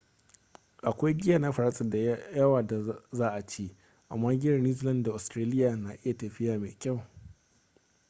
akwai giya na faransa da yawa da za a ci amma giyar new zealand da ostiraliya na iya tafiya mafi kyau